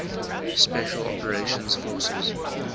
special operations forces